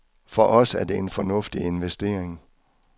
For os er det en fornuftig investering.